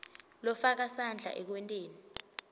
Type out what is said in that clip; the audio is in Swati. lofaka sandla ekwenteni